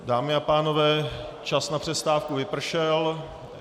Dámy a pánové, čas na přestávku vypršel.